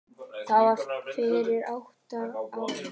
Það var fyrir átta árum.